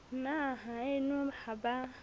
na haeno ha ba a